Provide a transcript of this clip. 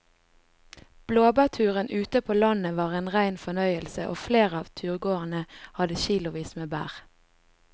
Blåbærturen ute på landet var en rein fornøyelse og flere av turgåerene hadde kilosvis med bær.